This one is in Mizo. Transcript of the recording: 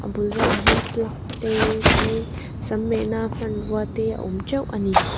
bulah velah hian plug te chuanin sam mehna hmanrua te awm teuh ani.